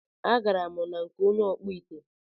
A garam na nke onye ọkpụ ite